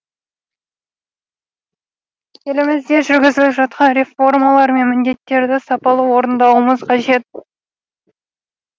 елімізде жүргізіліп жатқан реформалар мен міндеттерді сапалы орындауымыз қажет